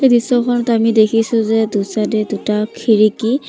এই দৃশ্যখনত আমি দেখিছোঁ যে দু চাইড এ দুটা খিৰিকী।